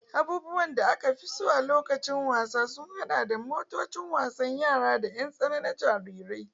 Abubuwan da aka fi so na lokacin wasa sun haɗa da motocin wasan yara da ƴan tsana na jarirai.